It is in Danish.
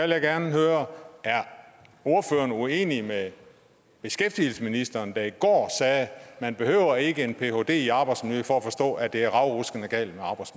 jeg gerne høre er ordføreren uenig med beskæftigelsesministeren der i går sagde at man ikke behøver en phd i arbejdsmiljø for at forstå at det er ravruskende galt